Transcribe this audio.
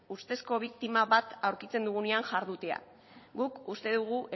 ustezko biktima bat aurkitzen dugunean jardutea guk uste dugu